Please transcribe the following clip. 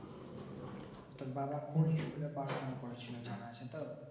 তোর বাবা কোন school এ পড়াশোনা করেছিল জানা আছে তোর